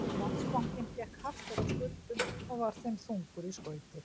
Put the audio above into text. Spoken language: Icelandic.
Landsbankinn gekk hart eftir skuldum og var þeim þungur í skauti.